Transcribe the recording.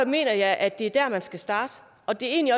mener jeg at det er der man skal starte og det er egentlig